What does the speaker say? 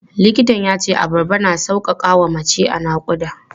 Likitan ya ce abarba na sauƙaƙa wa mace a naƙuda.